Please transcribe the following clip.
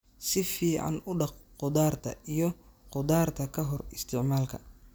Si fiican u dhaq khudaarta iyo khudaarta ka hor isticmaalka.